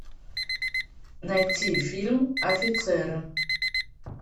найти фильм офицеры